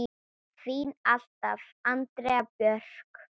Þín alltaf, Andrea Björk.